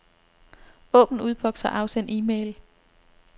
Åbn udboks og afsend e-mail.